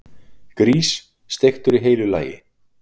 Grís, steiktur í heilu lagi!